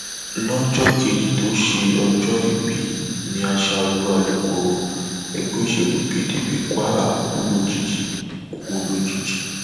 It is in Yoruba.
lọjọ kejì tó ṣe òjòòbí ni ashaolu alukoro ẹgbẹ òsèlú pdp kwara kú lójijì kú lójijì